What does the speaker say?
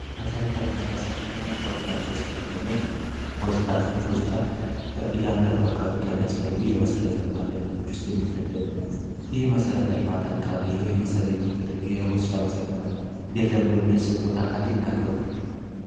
መሰረተ ልማት ውስጥ አንደኛው ሆስፒታል እያንዳንዱ አካባቢ ከሚያስፈልጉ የመሰረተ ልማቶች የሚመደብ ይሄ መሰረተ ልማት አካባቢ ይሄ የመሰገነ የለም ብሎ የሚያስቡ ቦታ አካሌ ተናገሩ